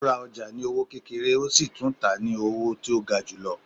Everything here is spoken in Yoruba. O rá ọja ní owó kékéré, o sí tún tá ní owó tí o gá julọ